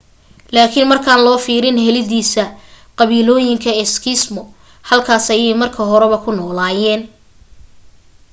laakin markaan loo fiirin helidiisa qabiilooyinka eskimo halkaas ayay marka horeba ku noolayeen